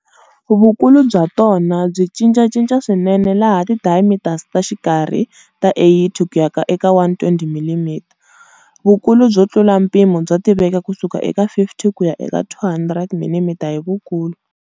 Vukulu bya tona byi cincacinca swinene laha ti diameters ta xikarhi ta 80 ku ya eka 120 mm. Vukulu byo tlula mpimo bya tiveka kusuka eka 50 kuya eka 200 mm hi vukulu.